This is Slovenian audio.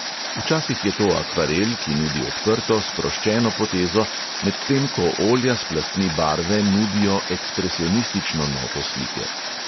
Včasih je to akvarel, ki nudi odprto, sproščeno potezo, medtem ko olja s plastmi barve nudijo ekspresionistično noto slike.